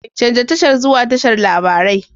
Canza tashar zuwa tashar labarai.